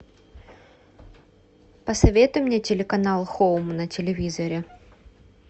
посоветуй мне телеканал хоум на телевизоре